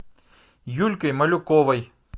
юлькой малюковой